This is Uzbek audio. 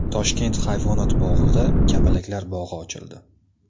Toshkent hayvonot bog‘ida kapalaklar bog‘i ochildi .